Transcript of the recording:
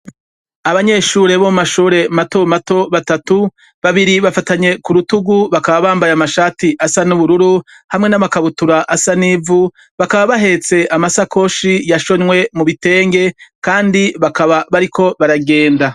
Abanyeshure batatu, bo mu mashure matomato, babiri bafatanye kurutugu bakaba bambay' amashati asa n' ubururu hamwe n' amakabutura asa n'ivu, bakaba bahets' amasakoshi yashonywe mu bitenge kandi bakaba bariko baragenda